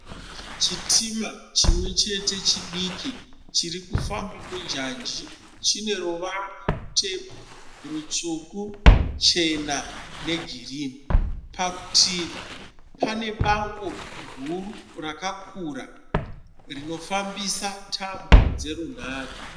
Chitima chimwe chete chidiki chiri kufamba munjanji. Chine ruvara rutema, rutsvuku, chena negirinhi. Parutivi pane bango guru rakakura rinofambisa tambo dzerunhare.